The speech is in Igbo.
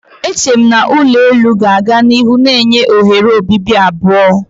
Eche m na ulo elu ga-aga n'ihu na-enye oghere obibi abụọ.